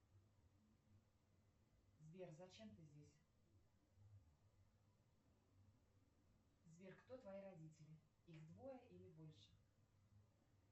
сбер зачем ты здесь сбер кто твои родители их двое или больше